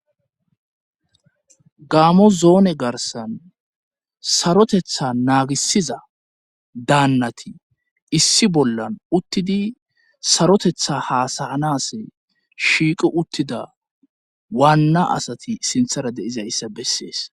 Gaamo zoone garsan sarotetha naagisiza daannati issi bollan uttidi sarotetha haasayanas shiiqu uttida waanna asati sinthara deiza issa bessees